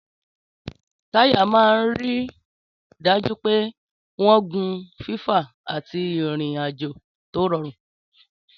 Táyà máa ń rí i dájú pé wọ́n ń gun fífà àti ìrìn-àjò tó rọrùn.